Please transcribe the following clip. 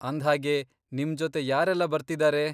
ಅಂದ್ಹಾಗೆ, ನಿಮ್ಜೊತೆ ಯಾರೆಲ್ಲ ಬರ್ತಿದಾರೆ?